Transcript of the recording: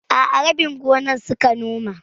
A'a, rabin gonar suka noma.